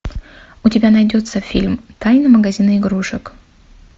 у тебя найдется фильм тайна магазина игрушек